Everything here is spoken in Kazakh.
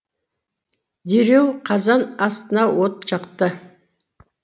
дереу қазан астына от жақты